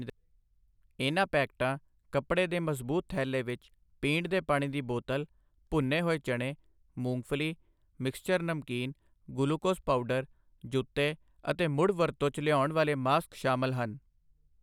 ਇਨ੍ਹਾਂ ਪੈਕਟਾਂ ਕੱਪੜੇ ਦੇ ਮਜ਼ਬੂਤ ਥੈਲੇ ਵਿੱਚ ਪੀਣ ਦੇ ਪਾਣੀ ਦੀ ਬੋਤਲ, ਭੁੰਨੇ ਹੋਏ ਚਣੇ, ਮੂੰਗਫਲੀ, ਮਿਕਸਚਰ ਨਮਕੀਨ, ਗੁਲੂਕੋਜ਼ ਪਾਊਡਰ, ਜੁੱਤੇ ਅਤੇ ਮੁੜ ਵਰਤੋਂ 'ਚ ਲਿਆਉਣ ਵਾਲੇ ਮਾਸਕ ਸ਼ਾਮਲ ਹਨ।